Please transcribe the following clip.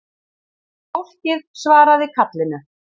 Fólkið svaraði kallinu